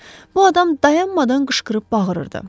Bu adam dayanmadan qışqırıb bağırırdı.